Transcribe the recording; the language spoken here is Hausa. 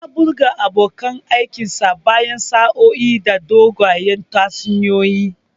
Ya birge abokan aikinsa bayan sa'o'i da dogayen tatsuniyoyi.